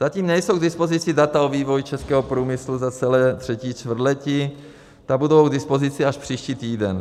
Zatím nejsou k dispozici data o vývoji českého průmyslu za celé třetí čtvrtletí, ta budou k dispozici až příští týden.